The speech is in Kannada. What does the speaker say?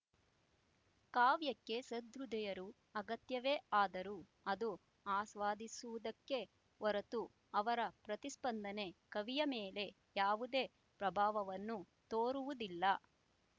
ಕಾವ್ಯಕ್ಕೆ ಸಹೃದಯರು ಅಗತ್ಯವೇ ಆದರೂ ಅದು ಆಸ್ವಾದಿಸುವುದಕ್ಕೆ ಹೊರತು ಅವರ ಪ್ರತಿಸ್ಪಂದನೆ ಕವಿಯ ಮೇಲೆ ಯಾವುದೇ ಪ್ರಭಾವವನ್ನು ತೋರುವುದಿಲ್ಲ